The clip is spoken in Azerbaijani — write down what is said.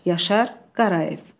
Yaşar Qarayev.